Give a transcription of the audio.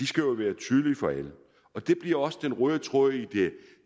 skal være tydelige for alle og det bliver også den røde tråd i det